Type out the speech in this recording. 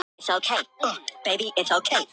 Hann varð hálfvandræðalegur.